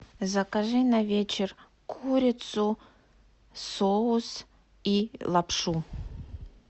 закажи на вечер курицу соус и лапшу